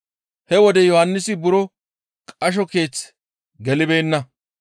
He wode Yohannisi buro qasho keeththe gelibeenna.